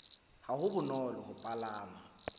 ho be bonolo ho palama